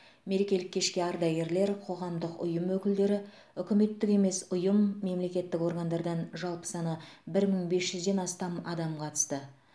мерекелік кешке ардагерлер қоғамдық ұйым өкілдері үкіметтік емес ұйым мемлекеттік органдардан жалпы саны бір мың бес жүзден астам адам қатысты